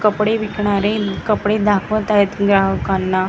कपडे विकणारे कपडे दाखवताहेत ग्राहकांना.